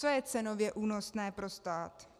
Co je cenově únosné pro stát?